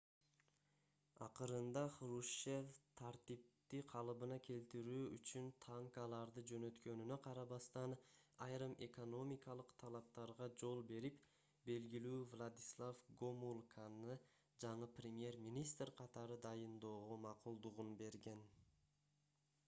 акырында хрущев тартипти калыбына келтирүү үчүн танкаларды жөнөткөнүнө карабастан айрым экономикалык талаптарга жол берип белгилүү владислав гомулканы жаңы премьер-министр катары дайындоого макулдугун берген